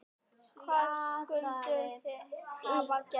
Hvað skyldu þeir hafa grætt?